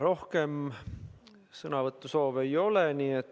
Rohkem sõnavõtusoove ei ole.